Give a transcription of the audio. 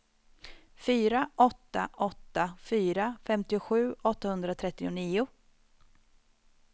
fyra åtta åtta fyra femtiosju åttahundratrettionio